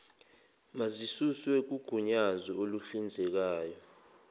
mazisuswe kugunyazo oluhlinzekayo